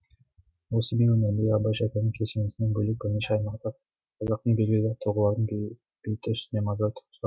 ол семей өңіріндегі абай шәкәрім кесенесінен бөлек бірнеше аймақта қазақтың белгілі тұлғаларының бейіті үстіне мазар тұрғызған жан